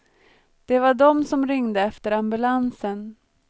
Det var de som ringde efter ambulansen.